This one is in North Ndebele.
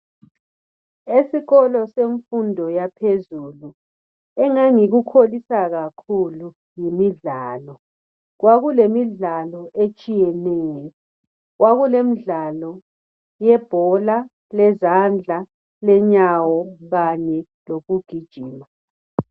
Esikolo semfundo yaphezulu engangikukholisa kakhulu yimidlalo kwakulemidlalo etshiyeneyo kwakulemidlalo yebhola lezandla lenyawo kanye lokugijima.